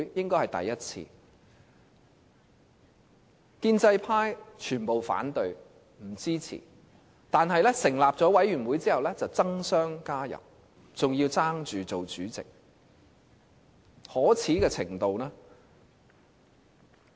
建制派全部反對，不予支持，但成立委員會後卻爭相加入，還要爭着當主席，可耻的程度......